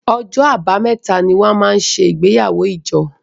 OỌjọ́ Àbàmẹ́ta ní wón món ṣe igbeyawo ijo